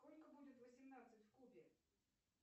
сколько будет восемнадцать в кубе